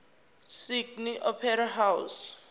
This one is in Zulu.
sydney opera house